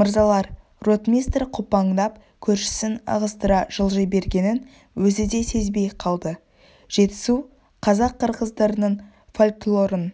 мырзалар ротмистр қопаңдап көршісін ығыстыра жылжи бергенін өзі де сезбей қалды жетісу қазақ-қырғыздарының фольклорын